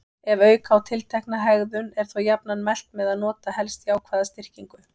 Ef auka á tiltekna hegðun er þó jafnan mælt með að nota helst jákvæða styrkingu.